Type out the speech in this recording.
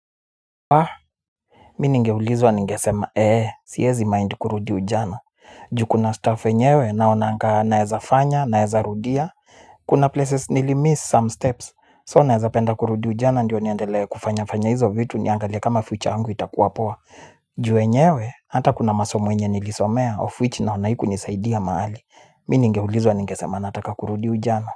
Aa, mi ningeulizwa ningesema ee siezi mind kurudi ujana. Ju kuna staff enyewe naonanga naeza fanya, naeza rudia. Kuna places nilimiss some steps, so naeza penda kurudi ujana ndio niendelee kufanya fanya hizo vitu niangalia kama future yangu itakuwa poa. Ju enyewe, hata kuna masomo yenye nilisomea of which naona haikunisaidia maali. Mi ningeulizwa ninge sema nataka kurudi ujana.